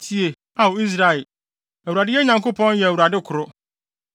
Tie, Ao Israel, Awurade yɛn Nyankopɔn yɛ Awurade koro.